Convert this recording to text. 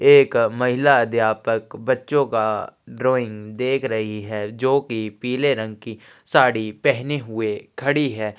एक महिला अध्यापक बच्चों का ड्राइंग देख रही है जोकि पीले रंग की साड़ी पहनी हुए खड़ी हैं।